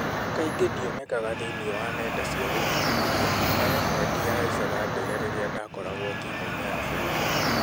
Kaingĩ ndionekaga thĩĩni wa nenda cia gũkinyanĩrĩa na rĩmwe ndĩahaicaga ndege rĩrĩa ndakoragwo timu-inĩ ya bũrũri.